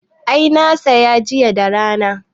I, na saya jiya da rana